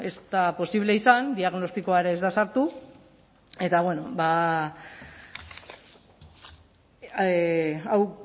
ez da posible izan diagnostikoa ere ez da sartu eta bueno ba hau